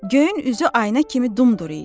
Göyün üzü aynə kimi dumduru idi.